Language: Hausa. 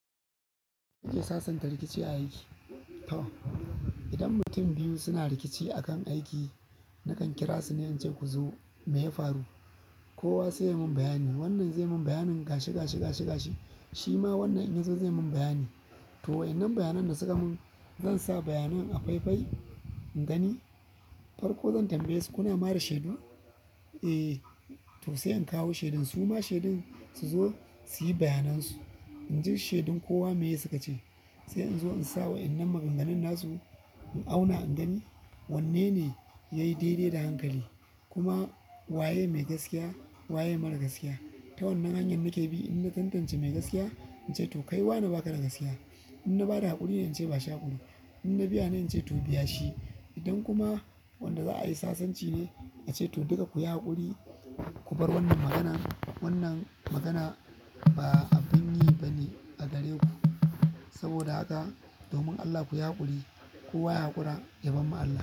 Muke sassanta rikici a aiki. To, idan mutum biyu suna rikici akan aiki, nakan kira su ne ince ku zo mai ya faru. Kowa sai ya mun bayani. Wannan zai mun bayanin gashi, gashi, gashi, gashi. Shi ma wannan inya zo zai mun bayani. To, wa'yanan bayanan da suka mun, zan sa bayanan a faifai in gani. Farko zan tambaye su kuna ma da shedu. Eh. To sai in kawo shaidun su ma shaidun su zo su yi bayanan su. In ji shaidun kowa meye suka ce, sai in zo in sawa idan maganganun na su in auna in gani wanne ne ya yi daidai da hankali kuma wa yake mai gaskiya, wa yake mara gaskiya. Ta wannan hanyar nake bi. In na tantace mai gaskiya sai ince to kai wane baka da gaskiya. In na ba da haƙurine ince bashi haƙuri. In na biya na ce to biya shi. Idan kuma wanda za a yi sasanci ne, na ce to duka ku yi haƙuri, ku bar wannan maganan. Wannan magana ba abin yi ba ne a gare ku. Saboda haka domin Allah ku yi haƙuri. Kowa ya haƙura yabamma Allah.